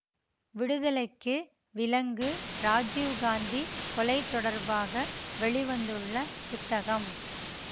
விடுதலைக்கு விலங்கு இராஜீவ் காந்தி கொலை தொடர்பாக வெளி வந்துள்ள புத்தகம்